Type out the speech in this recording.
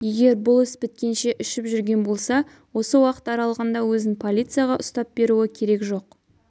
егер бұл іс біткенше ішіп жүрген болса осы уақыт аралығында өзін полицияға ұстап беруі керек жоқ